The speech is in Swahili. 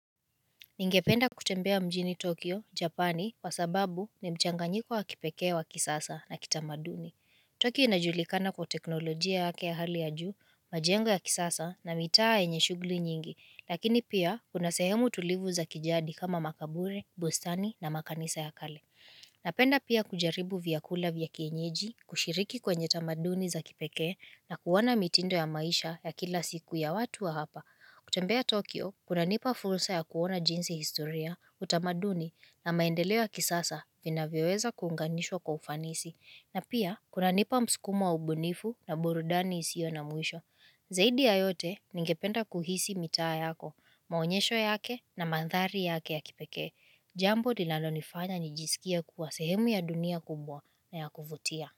Ningependa kutembea mjini Tokyo, Japani, kwa sababu ni mchanganyiko wa kipekee wa kisasa na kitamaduni. Tokyo inajulikana kwa teknolojia yake ya hali ya juu, majengo ya kisasa na mitaa yenye shughuli nyingi, lakini pia kuna sehemu tulivu za kijadi kama makaburi, bustani na makanisa ya kale. Napenda pia kujaribu vyakula vya kienyeji, kushiriki kwenye tamaduni za kipekee na kuona mitindo ya maisha ya kila siku ya watu wa hapa. Kutembea Tokyo, kunanipa fursa ya kuona jinsi historia, utamaduni na maendeleo kisasa vinavyoweza kuunganishwa kwa ufanisi. Na pia, kunanipa msukumo wa ubunifu na burudani isiyo na mwisho. Zaidi ya yote, ningependa kuhisi mitaa yako, maonyesho yake na mandhari yake ya kipekee. Jambo lilalonifanya nijisikie kuwa sehemu ya dunia kubwa na ya kuvutia.